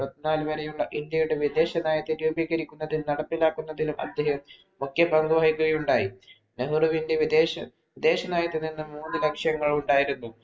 പത്തിനാല് വരേയുള്ള ഇന്ത്യയുടെ വിദേശ നയത്തെ രൂപീകരിക്കുന്നതിനും, നടപ്പിലാക്കുന്നതിലും അദ്ദേഹം മുഖ്യ പങ്കുവഹിക്കുകയുണ്ടായി. നെഹ്രുവിന്‍റെ വിദേശ വിദേശനയത്തിൽ നിന്നും മൂന്നുലക്ഷ്യങ്ങൾ ഉണ്ടായിരുന്നു.